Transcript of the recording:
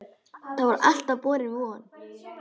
Það var alltaf borin von